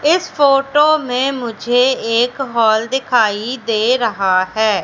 इस फोटो में मुझे एक हॉल दिखाई दे रहा हैं।